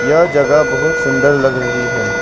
यह जगह बहुत सुंदर लग रही है।